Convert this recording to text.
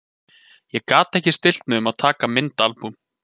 Ég gat ekki stillt mig um að taka myndaalbúm.